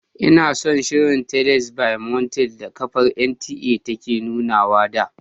Inason shirin"Teles by moonlight" da kafar NTA take nunawa da.